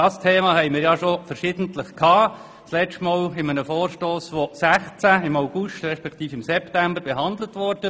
Dieses Thema haben wir schon verschiedentlich behandelt, das letzte Mal in einem Vorstoss, der im September 2016 beraten wurde.